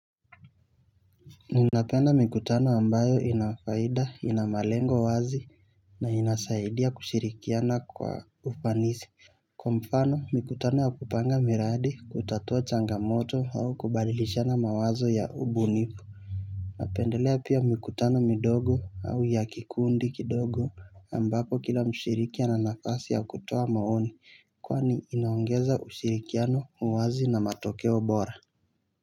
Ninapenda mikutano ambayo ina faida ina malengo wazi na inasaidia kushirikiana kwa ufanisi. Kwa mfano mikutano ya kupanga miradi kutatua changamoto au kubadilishana mawazo ya ubunifu napendelea pia mikutano midogo au ya kikundi kidogo ambapo kila mshiriki ana nafasi ya kutoa maoni kwani inaongeza ushirikiano uwazi na matokeo bora.